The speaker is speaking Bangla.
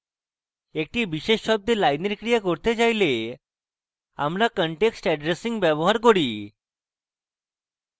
actions বিশেষ শব্দে lines ক্রিয়া করতে চাইলে আমরা context addressing ব্যবহার করি